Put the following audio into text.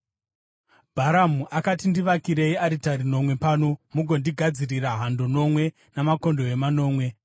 Bharamu akati, “Ndivakirei aritari nomwe pano, mugondigadzirira hando nomwe namakondobwe manomwe.”